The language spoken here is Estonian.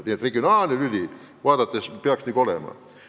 Nii et praegusi arenguid vaadates võib väita, et regionaalne tasand peaks siiski olema.